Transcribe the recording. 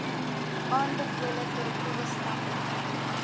aanbevole korrektiewe stappe